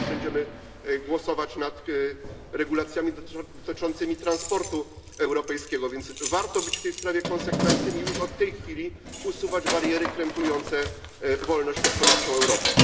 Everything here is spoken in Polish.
Dzisiaj też będziemy głosować nad regulacjami dotyczącymi transportu europejskiego, więc warto być w tej sprawie konsekwentnym i już od tej chwili usuwać bariery krępujące wolność gospodarczą Europy.